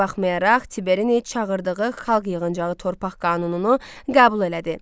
Buna baxmayaraq, Tiberi çağırdığı xalq yığıncağı torpaq qanununu qəbul elədi.